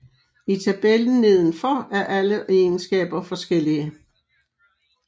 I tabellen nedenfor er alle egenskaber forskellige